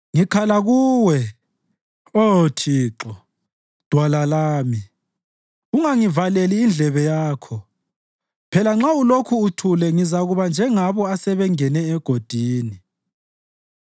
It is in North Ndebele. Ngikhala Kuwe, Oh Thixo, Dwala lami; ungangivaleli indlebe Yakho. Phela nxa ulokhu uthule ngizakuba njengalabo asebengene egodini.